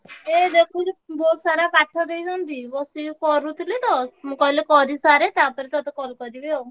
ଏ ଦେଖୁଛୁ sir ପାଠ ଦେଇଛନ୍ତି ବସିକି କରୁଥିଲି ତ ମୁଁ କହିଲି କରିସାରେ ତାପରେ ତତେ call କରିବି ଆଉ।